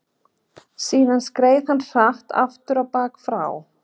Síðan skreið hann hratt afturábak frá